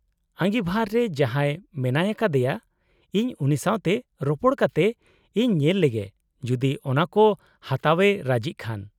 -ᱟᱺᱜᱤᱵᱷᱟᱨ ᱨᱮ ᱡᱟᱦᱟᱸᱭ ᱢᱮᱱᱟᱭ ᱠᱟᱫᱮᱭᱟ ᱤᱧ ᱩᱱᱤ ᱥᱟᱶᱛᱮ ᱨᱚᱯᱚᱲ ᱠᱟᱛᱮᱜ ᱤᱧ ᱧᱮᱞ ᱞᱮᱜᱮ ᱡᱩᱫᱤ ᱚᱱᱟ ᱠᱚ ᱦᱟᱛᱟᱣ ᱮ ᱨᱟᱡᱤᱜ ᱠᱷᱟᱱ ᱾